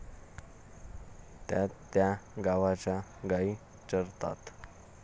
त्यात त्या गावाच्या गाई चरतात.